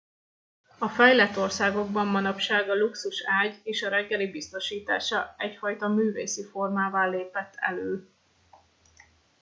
a fejlett országokban manapság a luxus ágy és a reggeli biztosítása egyfajta művészi formává lépett elő